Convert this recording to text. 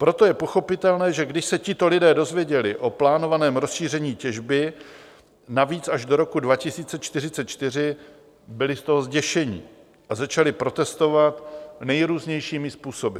Proto je pochopitelné, že když se tito lidé dozvěděli o plánovaném rozšíření těžby, navíc až do roku 2044, byli z toho zděšení a začali protestovat nejrůznějšími způsoby.